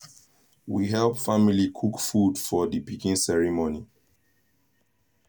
we help family cook food for the pikin ceremony